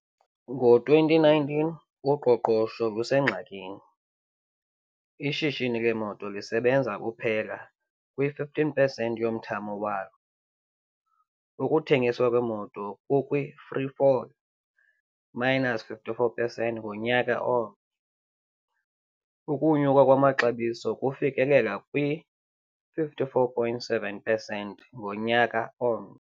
Ngo-2019, uqoqosho lusengxakini, ishishini leemoto lisebenza kuphela kwi-15 pesenti yomthamo walo, ukuthengiswa kweemoto kukwi-free fall, minus 54 pesenti ngonyaka omnye, ukunyuka kwamaxabiso kufikelela kwi-54.7 pesenti ngonyaka omnye.